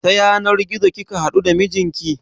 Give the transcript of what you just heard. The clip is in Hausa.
Ta yanar gizo kika haɗu da mijinki?